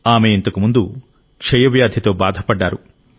ఆమె ఇంతకుముందు టిబితో బాధపడ్డారు